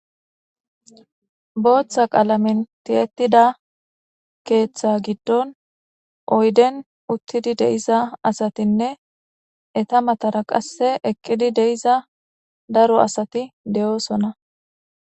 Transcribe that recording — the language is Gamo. Bootha qaalamen tiyettida keeththa giddon oyden uttidi de7iza asatinne eta matara qasse eqqidi de7iza daro asati de7oosona.